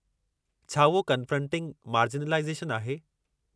छा उहो 'confronting marginalisation' आहे?